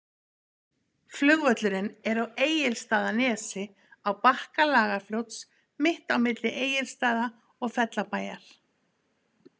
Flugvöllurinn er á Egilsstaðanesi, á bakka Lagarfljóts, mitt á milli Egilsstaða og Fellabæjar.